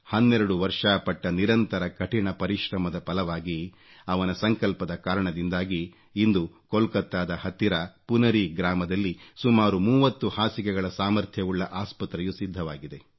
12 ವರ್ಷ ಪಟ್ಟ ನಿರಂತರ ಕಠಿಣ ಪರಿಶ್ರಮದ ಫಲವಾಗಿ ಅವನ ಸಂಕಲ್ಪದ ಕಾರಣದಿಂದಾಗಿ ಇಂದು ಕೋಲ್ಕತ್ತಾದ ಹತ್ತಿರ ಪುನರಿ ಗ್ರಾಮದಲ್ಲಿ ಸುಮಾರು 30 ಹಾಸಿಗೆಗಳ ಸಾಮರ್ಥ್ಯವುಳ್ಳ ಆಸ್ಪತ್ರೆಯು ಸಿದ್ಧವಾಗಿದೆ